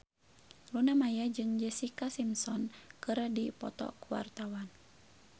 Luna Maya jeung Jessica Simpson keur dipoto ku wartawan